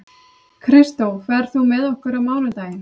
Kristó, ferð þú með okkur á mánudaginn?